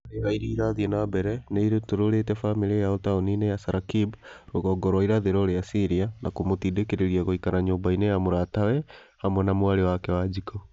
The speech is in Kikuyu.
Ngahĩha irĩa irathiĩ na mbere nĩirutũrũrĩte bamĩrĩ yao taũni-inĩ ya Saraqib rũgongo rwa irathĩro rĩa Syria , na kũmũtindĩkĩrĩria gũikara nyumba-inĩ ya mũratawe hamwe na mwarĩ wake Wanjiku